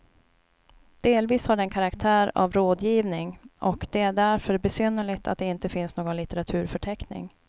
Delvis har den karaktär av rådgivning och det är därför besynnerligt att det inte finns någon litteraturförteckning.